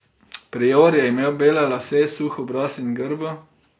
Prior je imel bele lase, suh obraz in grbo.